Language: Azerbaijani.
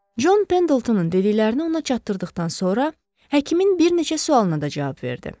Con Pendletonun dediklərini ona çatdırdıqdan sonra həkimin bir neçə sualına da cavab verdi.